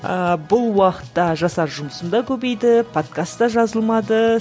ыыы бұл уақытта жасар жұмысым да көбейді подкаст та жазылмады